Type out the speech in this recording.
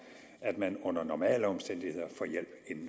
at man under normale omstændigheder